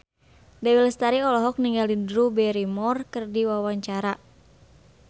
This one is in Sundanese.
Dewi Lestari olohok ningali Drew Barrymore keur diwawancara